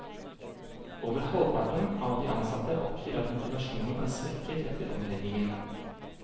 Over halvparten av de ansatte oppgir at motivasjonen er svekket etter omleggingen.